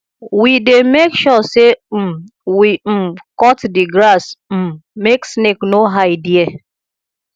we dey make sure sey um we um cut di grass um make snake no hide there